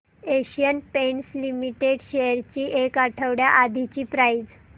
Asian Paints Limited shares ची एक आठवड्या आधीची प्राइस